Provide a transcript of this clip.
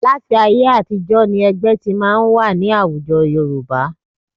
Láti ayé àtijọ́ ni ẹgbẹ́ ti máa ń wà ní àwùjọ Yorùbá